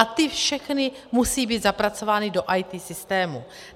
A ty všechny musí být zapracovány do IT systému.